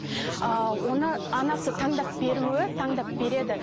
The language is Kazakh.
ы оны анасы таңдап беруі таңдап береді